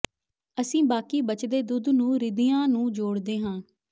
ਅਸੀਂ ਬਾਕੀ ਬਚਦੇ ਦੁੱਧ ਨੂੰ ਼ਿਰਦੀਆਂ ਨੂੰ ਜੋੜਦੇ ਹਾਂ